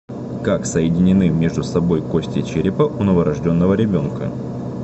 как соединены между собой кости черепа у новорожденного ребенка